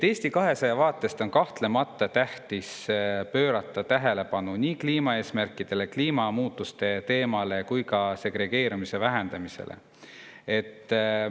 Eesti 200 arvates on kahtlemata tähtis pöörata tähelepanu nii kliimaeesmärkidele, kliimamuutuste teemale, kui ka segregeerumise vähendamisele.